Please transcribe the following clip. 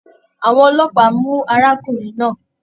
Àwọn ọlọ́pàá mu arákùnrin náà.